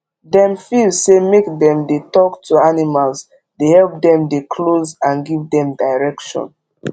dem feel say make dem dey talk to animals dey help dem dey close and give dem direction